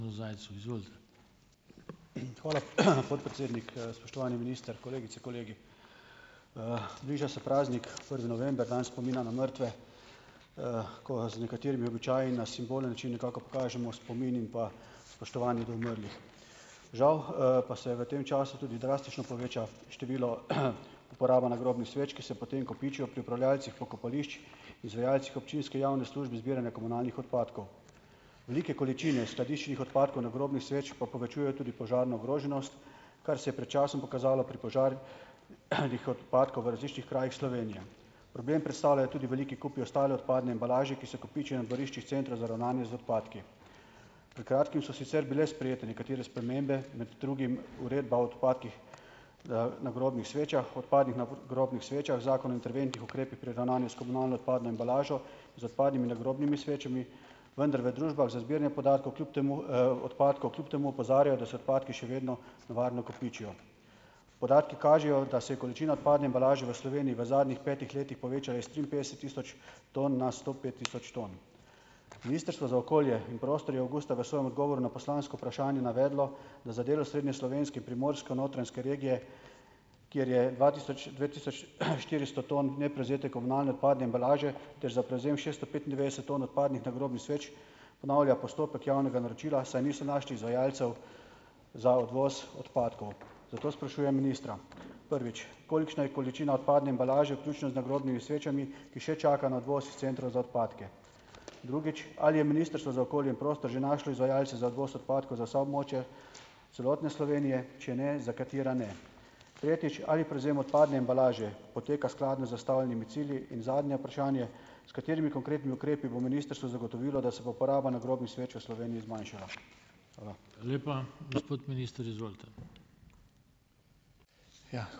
Hvala, podpredsednik, spoštovani minister, kolegice, kolegi. bliža se praznik, prvi november, dan spomina na mrtve , ko z nekaterimi običaji na simbolen način nekako pokažemo spomin in pa spoštovanje do umrlih . Žal, pa se v tem času tudi drastično poveča število, uporaba nagrobnih sveč, ki se potem kopičijo pri upravljavcih pokopališč, izvajalcih občinske javne službe zbiranja komunalnih odpadkov. Velike količine skladiščnih odpadkov nagrobnih sveč pa povečujejo tudi požarno ogroženost, kar se je pet časom pokazalo pri požar, nih odpadkov v različnih krajih Slovenije. Problem predstavljajo tudi veliki kupi ostale odpadne embalaže, ki se kopiči na dvoriščih Centra za ravnanje z odpadki. Pred kratkim so sicer bile sprejete nekatere spremembe, imeti drugim Uredba o odpadkih, nagrobnih svečah, odpadnih nagrobnih svečah, Zakon o interventnih ukrepih pri ravnanju s komunalno odpadno embalažo, z odpadnimi nagrobnimi svečami, vendar v družbah za zbiranje podatkov kljub temu, odpadkov kljub temu opozarjajo, da so odpadki še vedno nevarno kopičijo . Podatki kažejo, da se količina odpadne embalaže v Sloveniji v zadnjih petih letih povečala iz triinpetdeset tisoč ton na sto pet tisoč ton. Ministrstvo za okolje in prostor je avgusta v svojem odgovoru na poslansko vprašanje navedlo, da za del Osrednjeslovenske in Primorsko-notranjske regije, kjer je dva tisoč, dve tisoč, štiristo ton neprevzete komunalne odpadne embalaže, ter za prevzem šesto petindevetdeset ton odpadnih nagrobnih sveč ponavlja postopek javnega naročila, saj niso našli izvajalcev za odvoz odpadkov. Zato sprašujem ministra: Prvič. Kolikšna je količina odpadne embalaže, vključno z nagrobnimi svečami, ki še čaka na odvoz is Centra za odpadke? Drugič. Ali je Ministrstvo za okolje in prostor že našlo izvajalce za odvoz odpadkov za vsa območja celotne Slovenije, če ne, za katera ne? Tretjič. Ali prevzem odpadne embalaže poteka skladno z zastavljenimi cilji? In zadnje vprašanje. S katerimi konkretnimi ukrepi bo ministrstvo zagotovilo, da se bo poraba nagrobnih sveč v Sloveniji zmanjšala?